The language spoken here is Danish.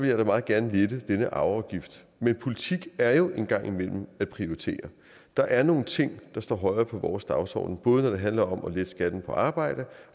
jeg da meget gerne lette denne arveafgift men politik er jo en gang imellem at prioritere og der er nogle ting der står højere på vores dagsorden både når det handler om at lette skatten på arbejde